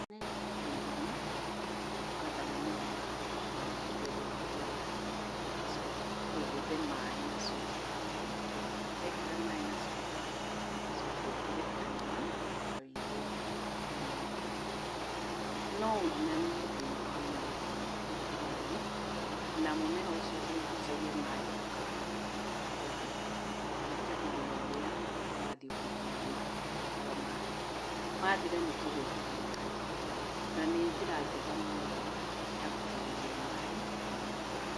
Nĩkwenja irima na kũhanda mũmera waku na wĩkĩre thumu wega. ũcoke wethe maĩ na cuba wĩkĩre . Wekĩra maĩ na cuba ũcoke ũtũre karima hau igũrũ thĩiniĩ wangunĩko. Nowĩinamie thĩiniĩ wa mũmera waku gĩtina-inĩ, na mũmera ũcio ũrĩgucagia maĩ ũkahora o kaharo kũringana na ũrĩa ũrathiĩ ũkĩnyuaga maĩ ũgĩbataraga maĩ. Mathira, nyingĩ ũgekĩra mangĩ na nĩnjĩra njega mũno ya gũitĩrĩria maĩ mĩmera yaku.